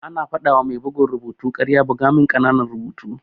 Ana fadawa mai bugun rubutu karya buga min ƙananan rubutu.